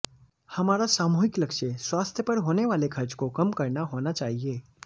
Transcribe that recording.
हमारा सामूहिक लक्ष्य स्वास्थ्य पर होने वाले खर्च को कम करना होना चाहिए